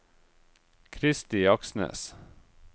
Kristi Aksnes